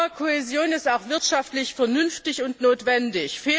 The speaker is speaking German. Aber Kohäsion ist auch wirtschaftlich vernünftig und notwendig.